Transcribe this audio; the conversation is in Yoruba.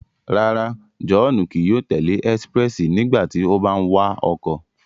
Rárá, Johnu kii yóò tẹle expréssi nígbàtí o bà ń wa ọkọ